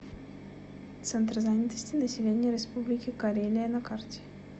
центр занятости населения республики карелия на карте